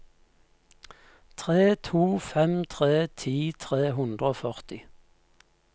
tre to fem tre ti tre hundre og førti